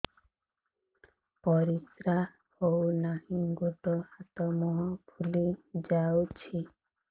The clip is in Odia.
ପରିସ୍ରା ହଉ ନାହିଁ ଗୋଡ଼ ହାତ ମୁହଁ ଫୁଲି ଯାଉଛି